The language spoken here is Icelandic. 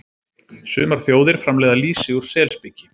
Sumar þjóðir framleiða lýsi úr selspiki.